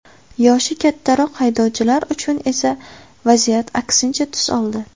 Yoshi kattaroq haydovchilar uchun esa vaziyat aksincha tus oldi.